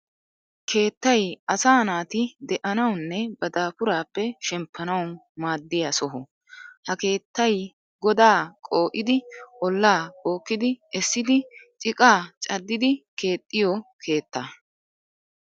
keettay asaa naati de'anawunne ba daafuraappe shemppanawu maaddiya soho. Ha keettay godaa qoo'idi ollaa bookkidi essidi ciqaa caddidi keexxiyo keetta.